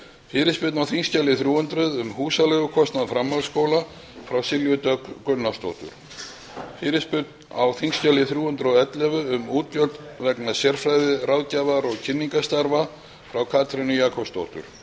fyrirspurn á þingskjali þrjú hundruð um húsaleigukostnað framhaldsskóla frá silju dögg gunnarsdóttur fyrirspurn á þingskjali þrjú hundruð og ellefu um útgjöld vegna sérfræði ráðgjafar og kynningarstarfa frá katrínu jakobsdóttur